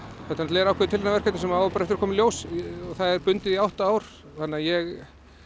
er ákveðið tilraunaverkefni sem á bara eftir að koma í ljós það er bundið í átta ár þannig að ég